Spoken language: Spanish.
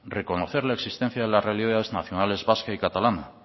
reconocer la existencia de las realidades nacionales vasca y catalana